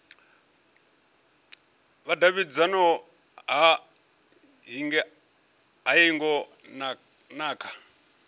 vhudavhidzano ha hingo na kha